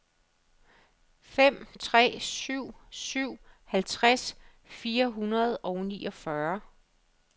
fem tre syv syv halvtreds fire hundrede og niogfyrre